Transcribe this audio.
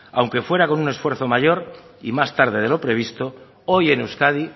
aunque fuera con un esfuerzo mayor y más tarde de lo previsto hoy en euskadi